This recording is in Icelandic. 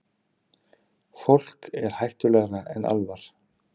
Fólk er hættulegra en álfar.